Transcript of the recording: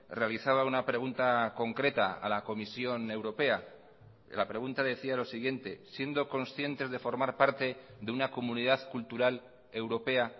realizaba una pregunta concreta a la comisión europea la pregunta decía lo siguiente siendo conscientes de formar parte de una comunidad cultural europea